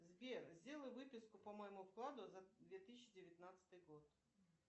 сбер сделай выписку по моему вкладу за две тысячи девятнадцатый год